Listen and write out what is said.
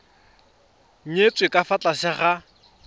nyetswe ka fa tlase ga